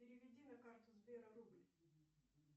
переведи на карту сбера рубль